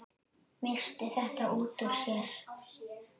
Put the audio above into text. Missti þetta út úr sér.